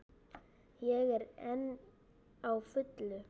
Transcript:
Ég er enn á fullu.